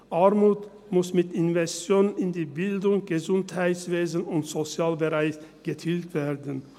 Armut muss mit Investitionen in die Bildung, das Gesundheitswesen und den Sozialbereich getilgt werden.